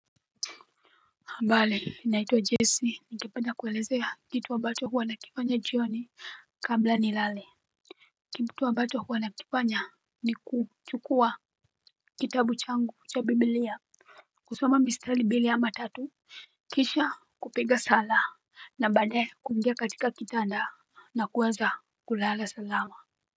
Bali naitwa Jessie nitakuwa nakuelezea kitu ambacho huwa nakifanya jioni. Kabla nilale kitu ambacho huwa nakifanya ni kuchukua kitabu changu cha biblia. Kusoma mistari mbili ama tatu. Kisha kupiga sala na baadaye kuingia katika kitanda na kuweza kulala salama.